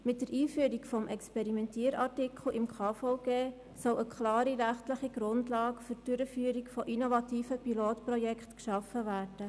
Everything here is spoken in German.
Mit der Einführung des «Experimentier-Artikels» im Bundesgesetz über die Krankenversicherung (KVG) soll eine klare rechtliche Grundlage für die Durchführung innovativer Pilotprojekte geschaffen werden.